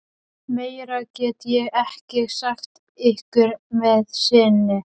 Meira get ég ekki sagt ykkur að sinni.